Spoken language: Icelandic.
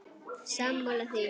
Sammála því?